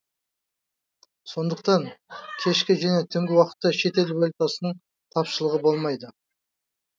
сондықтан кешкі және түнгі уақытта шетел валютасының тапшылығы болмайды